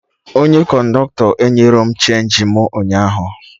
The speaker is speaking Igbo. Onye kọndọktọ enyerọ m chenji mụ ụnyaahụ